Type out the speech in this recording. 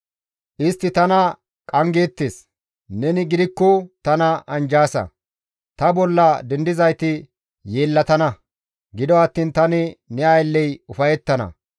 Istti tana qanggeettes; neni gidikko tana anjjaasa; ta bolla dendizayti yeellatana; gido attiin tani ne aylley ufayettana.